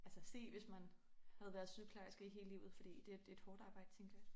Altså se hvis man havde været sygeplejerske i hele livet fordi det er et hårdt arbejde tænker jeg